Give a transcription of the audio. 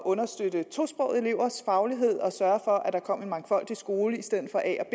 understøtte tosprogede elevers faglighed og sørge for at der kom en mangfoldig skole i stedet for a og